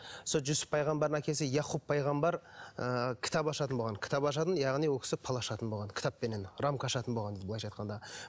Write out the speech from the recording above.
сол жүсіп пайғамбардың әкесі якуб пайғамбар ыыы кітап ашатын болған кітап ашатын яғни ол кісі бал ашатын болған кітаппенен рамка ашатын болған былайша айтқанда